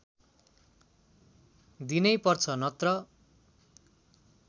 दिनैपर्छ नत्र